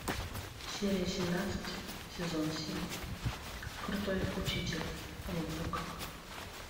серия семнадцать сезон семь крутой учитель онидзука